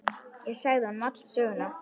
Ég sagði honum alla söguna.